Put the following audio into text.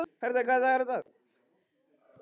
Herta, hvaða dagur er í dag?